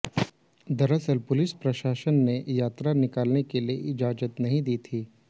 दरअसल पुलिस प्रशासन ने यात्रा निकालने के लिए इजाजत नहीं दी थी